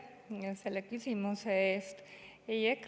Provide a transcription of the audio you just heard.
Aitäh selle küsimuse eest!